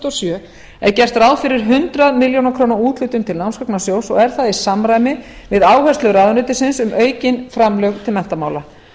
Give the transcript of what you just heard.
og sjö er gert ráð fyrir hundrað milljónir króna úthlutun til námsgagnasjóðs og er það í samræmi við áherslur ráðuneytisins um aukin framlög til menntamála